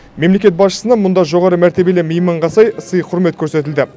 мемлекет басшысына мұнда жоғары мәртебелі мейманға сай сый құрмет көрсетілді